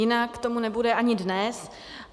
Jinak tomu nebude ani dnes.